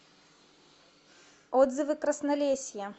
отзывы краснолесье